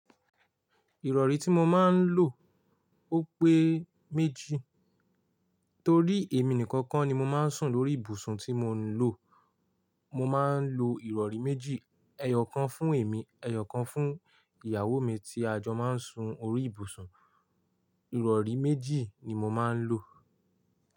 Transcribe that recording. Ìrọ̀rí tí mo máa ń lò ó pé méjì torí èmi nìkan kọ́ ni mo máa ń sùn lórí ibùsùn tí mo ń lò. Mo máa ń lo ìrọ̀rí méjì, ẹyọ̀ kan fún èmi, ẹyọ̀ kan fún ìyàwó mi tí a jọ máa ń sun orí ìbùsùn. Ìrọ̀rí méjì ni mo máa ń lò.